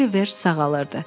Oliver sağalırdı.